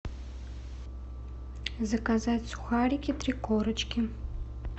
заказать сухарики три корочки